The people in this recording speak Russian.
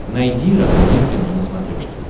найди родное кино на смотрешке